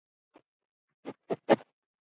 En hvernig kviknaði þessi hugmynd?